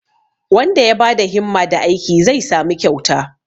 wanda ya ba da himma da aiki zai samu kyauta